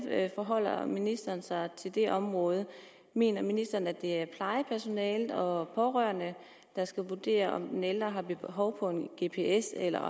forholder ministeren sig til det område mener ministeren at det er plejepersonalet og pårørende der skal vurdere om den ældre har behov for en gps eller